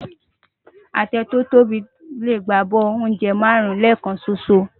Atẹ tò tóbi lé gbá ábò óùnjè márùn lèkán ṣóṣó